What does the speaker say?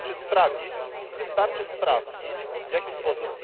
Wystarczy sprawdzić, w jaki sposób.